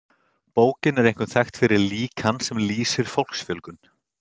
Bókin er einkum þekkt fyrir líkan sem lýsir fólksfjölgun.